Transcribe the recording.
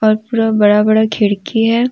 और पूरा बड़ा बड़ा खिड़की है।